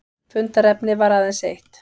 Fundarefnið var aðeins eitt